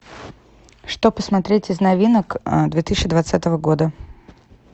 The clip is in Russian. что посмотреть из новинок две тысячи двадцатого года